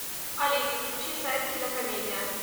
алиса включи сайт кинокомедия